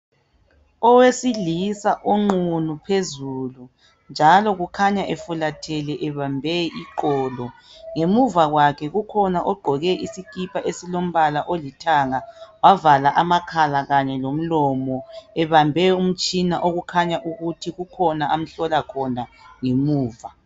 Owesilisa onqunu phezulu njalo kukhanya efulathele ebambe iqolo. Ngemuva kwakhe kukhona ogqoke isikipa esilombala olithanga, wavala amakhala kanye lomlomo ebambe umtshina okukhanya ukuthi kukhona amhlola khona ngemuva.